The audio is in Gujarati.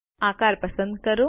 આકાર પસંદ કરો